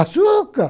Açúcar!